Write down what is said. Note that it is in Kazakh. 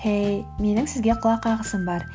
хей менің сізге құлақ қағысым бар